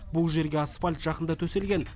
бұл жерге асфальт жақында төселген